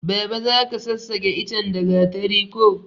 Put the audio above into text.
Baba zaka sassake ichen da gatari ko